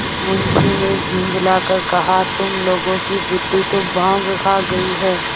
मुंशी ने झुँझला कर कहातुम लोगों की बुद्वि तो भॉँग खा गयी है